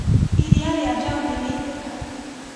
Iria ria njaũ nĩriaitĩka.